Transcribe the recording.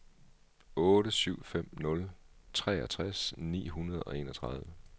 otte syv fem nul treogtres ni hundrede og enogtredive